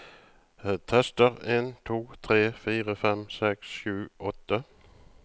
Tester en to tre fire fem seks sju åtte